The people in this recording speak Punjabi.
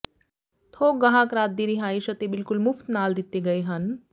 ਥੋਕ ਗਾਹਕ ਰਾਤ ਦੀ ਰਿਹਾਇਸ਼ ਅਤੇ ਬਿਲਕੁਲ ਮੁਫ਼ਤ ਨਾਲ ਦਿੱਤੇ ਗਏ ਹਨ